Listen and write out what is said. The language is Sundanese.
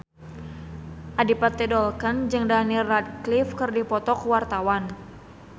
Adipati Dolken jeung Daniel Radcliffe keur dipoto ku wartawan